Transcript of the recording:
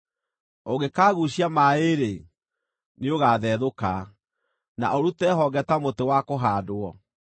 ũngĩkaguucia maaĩ-rĩ, nĩũgathethũka na ũrute honge ta mũtĩ wa kũhaandwo.